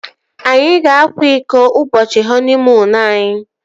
Anyị ga-akwa iko ụbọchị họniimuunu anyi